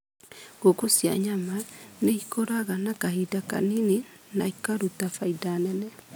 Ngũkũ cia nyama nĩ ikũraga na kahinda kanini na ikarũta faida nene.